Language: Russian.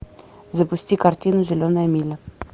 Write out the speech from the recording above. запусти картину зеленая миля